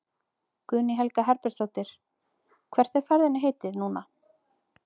Guðný Helga Herbertsdóttir: Hvert er ferðinni heitið núna?